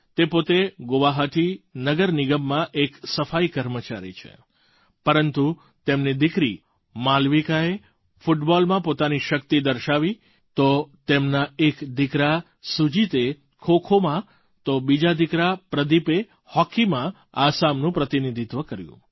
તે પોતે ગુવાહાટી નગર નિગમમાં એક સફાઈ કર્મચારી છે પરંતુ તેમની દીકરી માલવિકાએ ફૂટબોલમાં પોતાની શક્તિ દર્શાવી તો તેમના એક દીકરા સુજીતે ખોખોમાં તો બીજા દીકરા પ્રદીપે હૉકીમાં આસામનું પ્રતિનિધિત્વ કર્યું